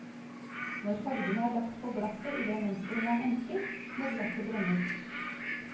Når fargene er lagt på glasset i det mønsteret man ønsker, må glasset brennes.